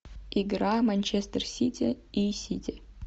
игра манчестер сити и сити